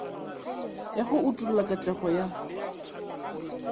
ya go utolla katlego ya